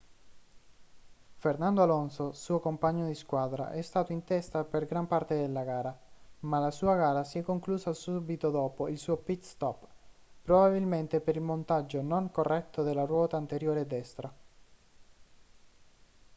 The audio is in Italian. fernando alonso suo compagno di squadra è stato in testa per gran parte della gara ma la sua gara si è conclusa subito dopo il suo pit-stop probabilmente per il montaggio non corretto della ruota anteriore destra